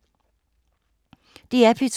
DR P2